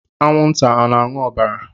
Anwụnta ọ na-aṅụ ọbara?